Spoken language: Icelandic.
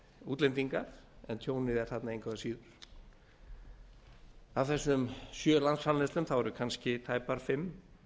útlendingar en tjónið er þarna engu að síður af þessum sjö landsframleiðslum eru kannski tæpar fimm